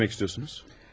Nə demək istəyirsiniz?